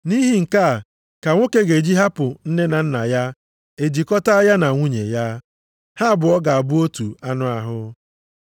“Nʼihi nke a ka nwoke ga-eji hapụ nne na nna ya e jikọta ya na nwunye ya. Ha abụọ ga-abụ otu anụ ahụ.” + 5:31 \+xt Jen 2:24\+xt*